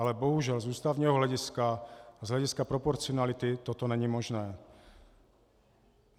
Ale bohužel z ústavního hlediska, z hlediska proporcionality toto není možné.